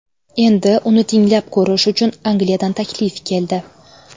Endi uni tinglab ko‘rish uchun Angliyadan taklif keldi.